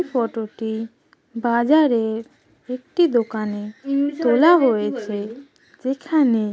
Photo -টি বাজারের একটি দোকানে তোলা হয়েছে । এখানে।